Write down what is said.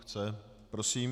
Chce, prosím.